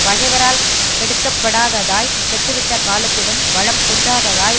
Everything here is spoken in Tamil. பகைவரால் கெடுக்கப் படாததாய் கெட்டுவிட்ட காலத்திலும் வளம் குன்றாததாய்